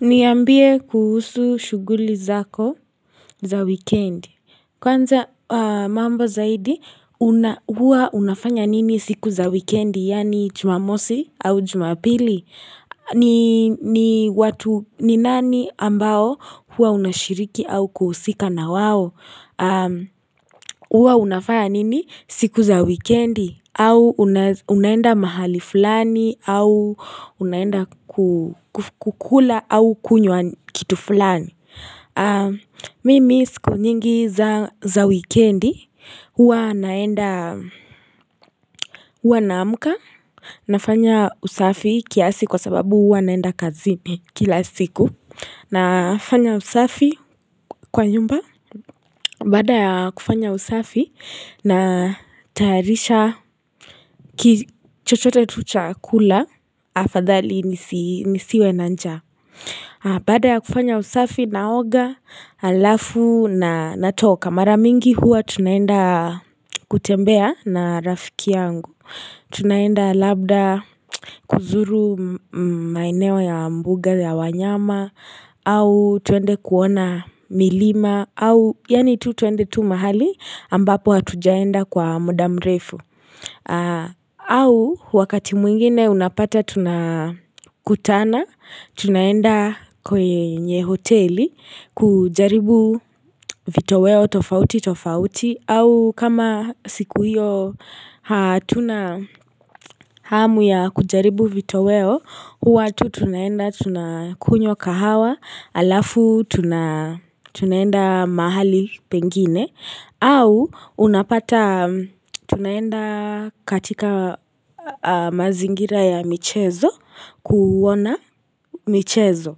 Niambie kuhusu shuguli zako za weekend. Kwanza mambo zaidi, huwa unafanya nini siku za wikendi, yani jumamosi au jumapili? Ni nani ambao huwa unashiriki au kuhusika na wawo? Uwa unafaya nini siku za wikendi au unaenda mahali fulani au unaenda kukula au kunywa kitu fulani Mimi siku nyingi za wikendi Uwa naenda Uwa naamka Nafanya usafi kiasi kwa sababu Uwa naenda kazi ni kila siku Nafanya usafi kwa nyumba Baada ya kufanya usafi na tayarisha kichochote tuchakula afadhali nisiwe nanjaa Baada ya kufanya usafi naoga alafu na natoka Maramingi huwa tunaenda kutembea na rafiki yangu Tunaenda labda kuzuru maeneo ya mbuga ya wanyama au twende kuona milima au yanitu twende tu mahali ambapo hatujaenda kwa mudamrefu au wakati mwingine unapata tunakutana tunaenda kwenye hoteli kujaribu vitoweo tofauti tofauti au kama siku hiyo tunahamu ya kujaribu vito weo huwa tu tunaenda tunakunywa kahawa alafu tuna tunaenda mahali pengine au unapata tunaenda katika mazingira ya michezo kuona michezo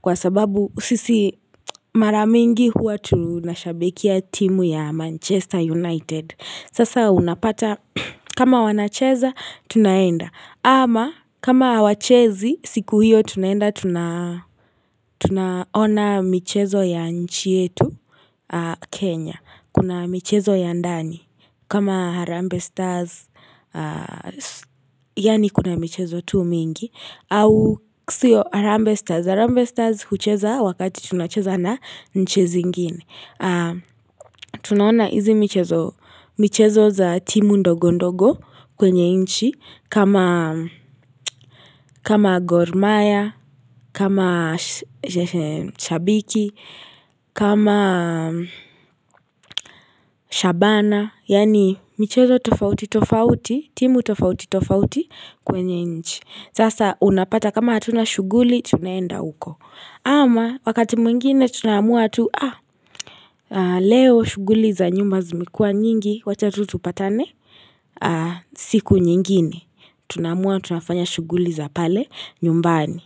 Kwa sababu sisi mara mingi huwa tu nashabikia timu ya Manchester United Sasa unapata kama wanacheza tunaenda Ama kama hawachezi siku hiyo tunaenda tuna tunaona michezo ya nchi yetu Kenya, kuna michezo ya ndani, kama Harambee Stars, yani kuna michezo tu mingi, au ksio Harambe Stars. Harambe stars hucheza wakati tunacheza na nchi zingine. Tunaona hizi michezo za timu ndogo ndogo kwenye nchi kama kama gor maya, kama shabiki, kama shabana. Yani michezo tofauti tofauti, timu tofauti tofauti kwenye nchi. Sasa unapata kama hatuna shuguli, tunaenda uko. Ama wakati mwingine tunamua tu Leo shuguli za nyumba zimekuwa nyingi Wacha tutupatane siku nyingine Tunamua tunafanya shuguli za pale nyumbani.